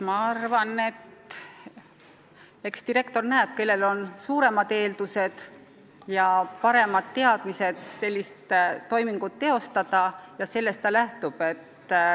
Ma arvan, et direktor näeb, kellel on suuremad eeldused ja paremad oskused sellist toimingut teostada, ja sellest ta lähtub.